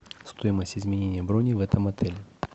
стоимость изменения брони в этом отеле